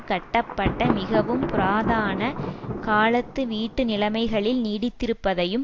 கட்டப்பட்ட மிகவும் புராதான காலத்து வீட்டு நிலைமைகளில் நீடித்திருப்பதையும்